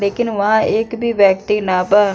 लेकिन वहाँ एक भी व्यक्ति ना बा।